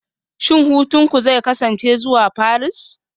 Shin hutunku zai kasance zuwa Paris?